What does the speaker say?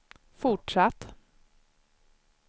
fortsatt